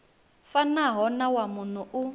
fanaho na wa muno u